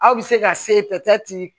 Aw bɛ se ka se ta ci